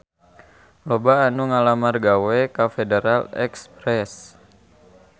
Loba anu ngalamar gawe ka Federal Express